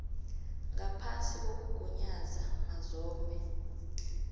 ngaphasi kokugunyaza mazombe